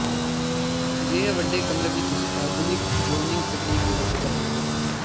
ਅਜਿਹੇ ਵੱਡੇ ਕਮਰੇ ਵਿੱਚ ਤੁਸੀਂ ਆਧੁਨਿਕ ਜ਼ੋਨੀਿੰਗ ਤਕਨੀਕ ਦੀ ਵਰਤੋਂ ਕਰ ਸਕਦੇ ਹੋ